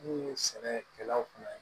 N'u ye sɛnɛkɛlaw kunna